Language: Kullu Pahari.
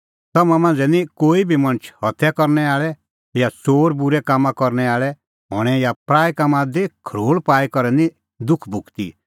तम्हां मांझ़ै निं कोई बी मणछ हत्या करनै आल़अ या च़ोर या बूरै कामां करनै आल़ै हणैं या पराऐ कामां दी खरोल़ पाई करै निं दुख भुगती